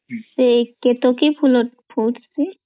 ସେ କେତକୀ ଫୁଲ ଫୁଟଶୀ